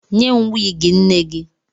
Nye m wiigi nne gị!